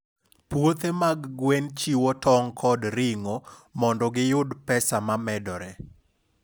Puothe mag gwen chiwo tong' kod ring'o mondo giyud pesa momedore.